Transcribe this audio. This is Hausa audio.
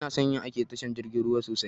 Inason yin aiki da tashar jirgin ruwa sosai